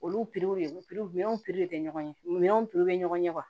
Olu minɛnw tɛ ɲɔgɔn ɲɛ minɛnw bɛ ɲɔgɔn ɲɛ